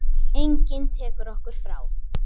Enginn tekur okkur frá.